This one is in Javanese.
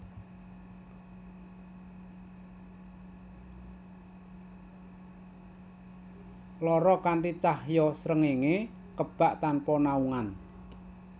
Loro Kanthi cahya srengéngé kebak tanpa naungan